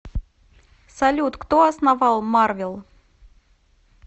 салют кто основал марвел